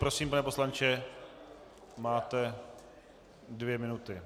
Prosím, pane poslanče, máte dvě minuty.